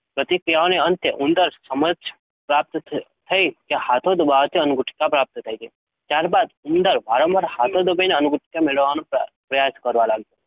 પ્રતિક્રિયાઓને અંતે ઉંદરને સમજ પ્રાપ્ત થઈ કે હાથો દબાવવાથી અન્નગુટિકા પ્રાપ્ત થાય છે. ત્યારબાદ ઉંદર વારંવાર હાથો દબાવીને અન્નગુટિકા મેળવતો થાય છે,